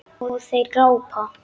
Og þeir glápa.